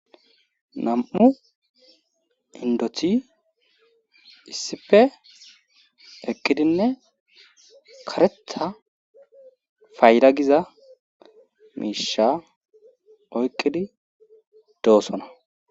Nam'u indothi issipfe eqkidinne karetha fayda giza miisha oyqqidi doossona.